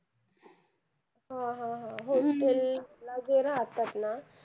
हो हो हो. hostel ला जे राहतात ना.